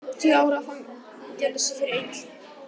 Tíu ára fangelsi fyrir einelti